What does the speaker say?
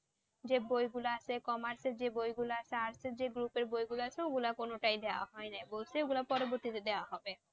যে বইগুলো আছে, commerce এর যে বইগুলো আছে, arts এর যে গ্রুপের বইগুলো আছে ওগুলা কোনটাই দেওয়া হয় নাই। বলছে ওগুলা পরবর্তী তে দেওয়া হবে।